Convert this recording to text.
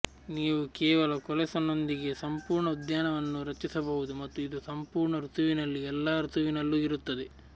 ನೀವು ಕೇವಲ ಕೋಲೆಸ್ನೊಂದಿಗೆ ಸಂಪೂರ್ಣ ಉದ್ಯಾನವನ್ನು ರಚಿಸಬಹುದು ಮತ್ತು ಇದು ಸಂಪೂರ್ಣ ಋತುವಿನಲ್ಲಿ ಎಲ್ಲಾ ಋತುವಿನಲ್ಲೂ ಇರುತ್ತದೆ